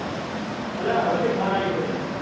અલ્યા વચ્ફોચે phone આવી ગયો હતો એટલે.